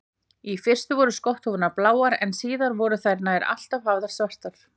Í fyrstu voru skotthúfurnar bláar en síðar voru þær nær alltaf hafðar svartar.